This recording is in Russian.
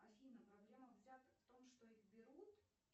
афина проблема взяток в том что их берут